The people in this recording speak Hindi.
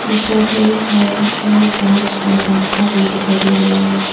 उपर कई सारे बलब्स और पंखा भी दिखाई दे रही है।